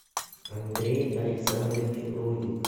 андрей александрович рудик